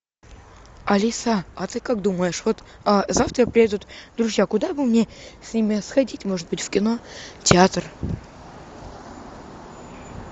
алиса а ты как думаешь вот завтра приедут друзья куда бы мне с ними сходить может быть в кино театр